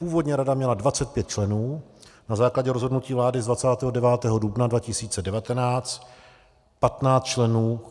Původní rada měla 25 členů, na základě rozhodnutí vlády z 29. dubna 2019 patnáct členů.